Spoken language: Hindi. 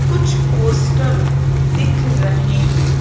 कुछ पोस्टर दिख रहे हैं।